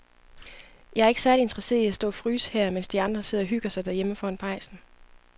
Jeg er ikke særlig interesseret i at stå og fryse her, mens de andre sidder og hygger sig derhjemme foran pejsen.